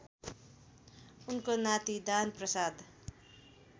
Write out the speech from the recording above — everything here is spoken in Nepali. उनको नाति दानप्रसाद